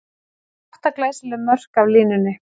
Átta glæsileg mörk af línunni!